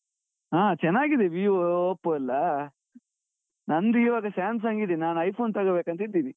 ಹಾ ಚೆನ್ನಾಗಿದೆ Vivo, Oppo ಎಲ್ಲಾ, ನಂದ್ ಈವಾಗ Samsung ಇದೆ. ನಾನ್ iPhone ತೊಗೊಬೇಕ್ ಅಂತ ಇದ್ದೀನಿ.